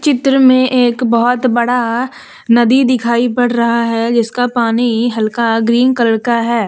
चित्र में एक बहोत बड़ा नदी दिखाई पड़ रहा है जिसका पानी हल्का ग्रीन कलर का है।